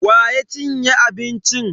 Wa ya cinye abincin?